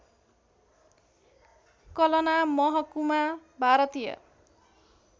कलना महकुमा भारतीय